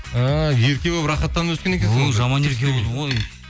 а ерке болып рахаттанып өскен екенсің өй жаман ерке болдым ғой